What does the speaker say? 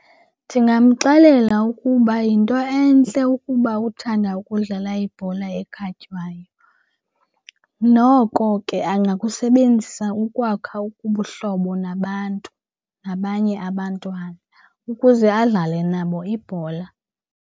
Ndingamxelela ukuba yinto entle ukuba uthanda ukudlala ibhola ekhatywayo. Noko ke angakusebenzisa ukwakha ubuhlobo nabantu, nabanye abantwana ukuze adlale nabo ibhola.